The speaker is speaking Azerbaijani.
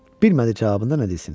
Bilmədi cavabında nə desin.